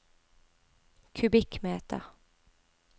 kubikkmeter